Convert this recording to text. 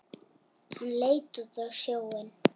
Hann leit út á sjóinn.